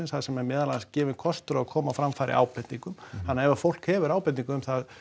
þar sem er meðal annars gefinn kostur á að koma á framfæri ábendingum þannig að ef fólk hefur ábendingu um það